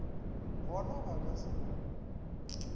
go na ba ka se